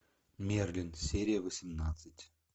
мерлин серия восемнадцать